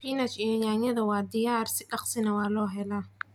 Spinach iyo yaanyada waa diyaar si daqsii na waa lahelaa.